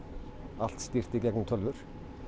allt stýrt í gegn um tölvur